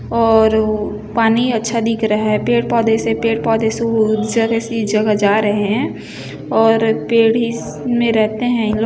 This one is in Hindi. और पानी अच्छा दिख रहा है पेड़ पौधे से पेड़ पौधे से जगह जा रहे है और पेड़ हिस में रहते है इनलोग।